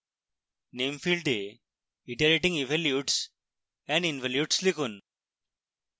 name ফীল্ডে iterating evolutes and involutes লিখুন